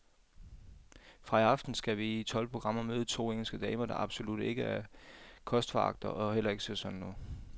Fra i aften skal vi i tolv programmer møde to engelske damer, der absolut ikke er kostforagtere og heller ikke ser sådan ud.